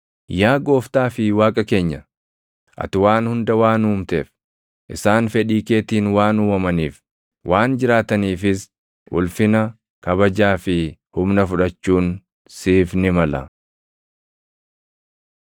“Yaa Gooftaa fi Waaqa keenya, ati waan hunda waan uumteef, isaan fedhii keetiin waan uumamaniif, waan jiraataniifis, ulfina, kabajaa fi humna fudhachuun siif ni mala.”